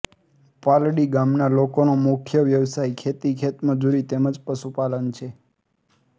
પાલડી ગામના લોકોનો મુખ્ય વ્યવસાય ખેતી ખેતમજૂરી તેમ જ પશુપાલન છે